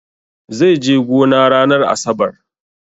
Zai je gona ranar asabar.